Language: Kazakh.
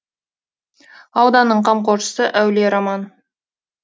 ауданның қамқоршысы әулие роман